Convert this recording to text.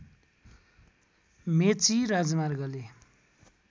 मेची राजमार्गले